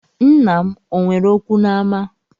Nna m o nwere okwu n’ama?